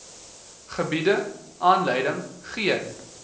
gebiede aanleiding gee